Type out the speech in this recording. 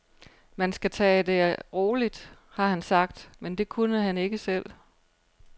Man skal tage det roligt, har han sagt, men det kunne han ikke selv.